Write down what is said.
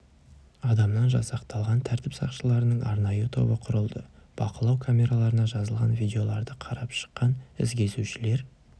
адамнан жасақталған тәртіп сақшыларынан арнайы тобы құрылды бақылау камераларына жазылған видеоларды қарап шыққан із кесушілер